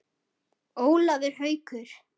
Ólafur Haukur.